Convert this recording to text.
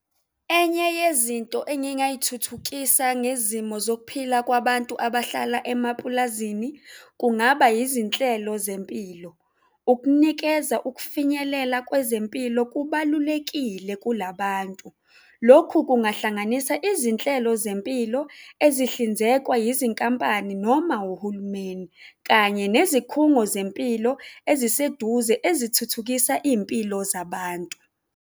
Enye yezinto engingayithuthukisa ngezimo zokuphila kwabantu abahlala emapulazini kungaba izinhlelo zempilo. Ukunikeza ukufinyelela kwezempilo kubalulekile kulabantu. Lokhu kungahlanganisa izinhlelo zempilo ezihlinzekwa yizinkampani noma uhulumeni, kanye nezikhungo zempilo eziseduze ezithuthukisa izimpilo zabantu.